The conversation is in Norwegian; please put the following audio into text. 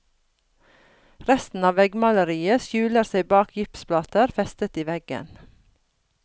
Resten av veggmaleriet skjuler seg bak gipsplater festet i veggen.